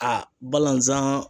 A balazan